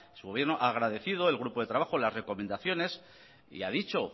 su gobierno ha agradecido al grupo de trabajo las recomendaciones y ha dicho